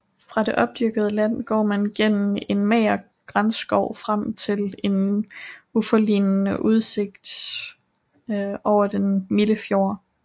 Fra det opdyrkede land går man gennem en mager granskov frem til en uforlignelig udsigt over den milde fjord